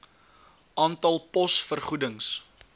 aantal pos vergoedings